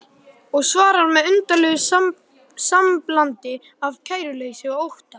Og svarar með undarlegu samblandi af kæruleysi og ótta